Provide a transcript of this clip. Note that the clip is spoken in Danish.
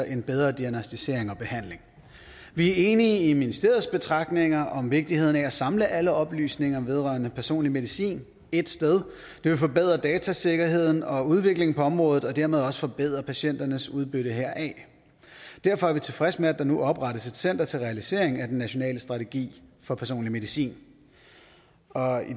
en bedre diagnosticering og behandling vi er enige i ministeriets betragtninger om vigtigheden af at samle alle oplysninger vedrørende personlig medicin ét sted det vil forbedre datasikkerheden og udviklingen på området og dermed også forbedre patienternes udbytte heraf derfor er vi tilfredse med at der nu oprettes et center til realisering af den nationale strategi for personlig medicin og